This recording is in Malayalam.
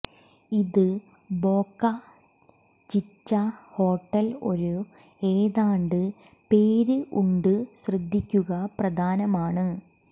ഇത് ബോക ഛിച ഹോട്ടൽ ഒരു ഏതാണ്ട് പേര് ഉണ്ട് ശ്രദ്ധിക്കുക പ്രധാനമാണ്